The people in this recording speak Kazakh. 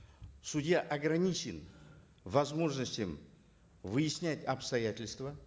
судья ограничен возможностями выяснять обстоятельства